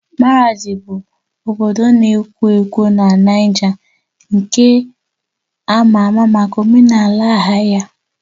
Maradi bụ obodo na-ekwo ekwo na Niger nke ama ama maka omenala ahịa ya.